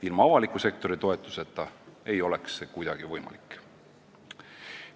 Ilma avaliku sektori toetuseta ei oleks see kuidagi võimalik.